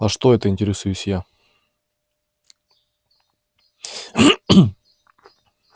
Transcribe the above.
а что это интересуюсь я